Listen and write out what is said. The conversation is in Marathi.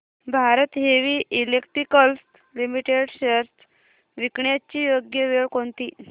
Bharat heavy electricals limited shares विकण्याची योग्य वेळ कोणती